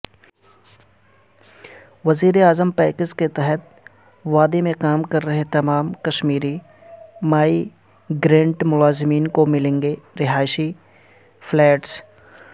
وزیراعظم پیکیج کےتحت وادی میں کام کررہےتمام کشمیری مائیگرنٹ ملازمین کوملیں گے رہائشی فلیٹس